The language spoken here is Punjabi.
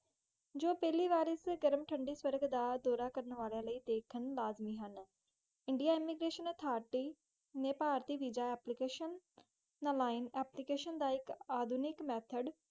ਜੋ ਪਹਿਲੀ ਵਾਰੀ ਵਿਚ ਗਰਮ, ਠੰਡੀ ਸਵਾਂਗ ਦਾ ਦੋਨਾਂ ਕਰਨ ਲਾਇ ਲਾਜ਼ਮੀ ਹਨ ਇੰਡਿਯਨ ਇਮਾਗਰਾਸ਼ਨ ਔਸ਼ਰਿਟੀ ਹਾਯ ਪਾਰਟੀ ਵੀਸਾ, ਨਾਮੀਨੇ ਅੱਪਲੀਕੈਸ਼ਨ ਦਾ ਇਕ ਆਧੁਨਿਕ ਮੈਥੋੜ